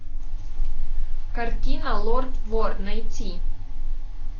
картина лорд вор найти